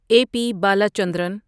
a P Balachandran